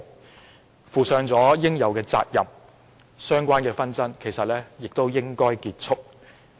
他既負起應有的責任，相關的紛爭亦應結束。